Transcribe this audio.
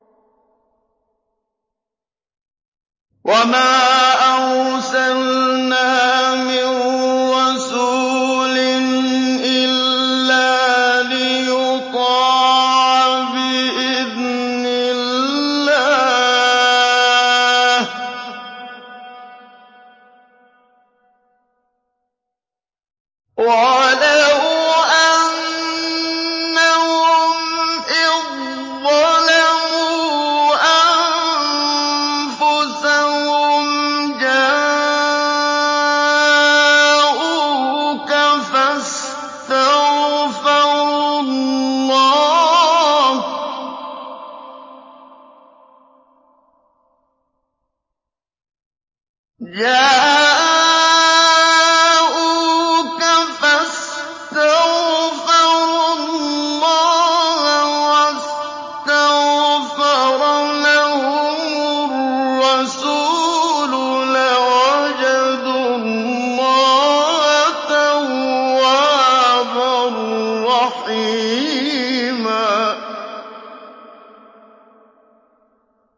وَمَا أَرْسَلْنَا مِن رَّسُولٍ إِلَّا لِيُطَاعَ بِإِذْنِ اللَّهِ ۚ وَلَوْ أَنَّهُمْ إِذ ظَّلَمُوا أَنفُسَهُمْ جَاءُوكَ فَاسْتَغْفَرُوا اللَّهَ وَاسْتَغْفَرَ لَهُمُ الرَّسُولُ لَوَجَدُوا اللَّهَ تَوَّابًا رَّحِيمًا